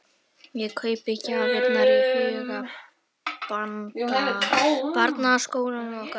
Ég kaupi gjafir í huganum handa barnakórnum okkar.